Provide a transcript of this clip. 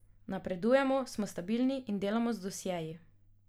Napredujemo, smo stabilni in delamo z dosjeji.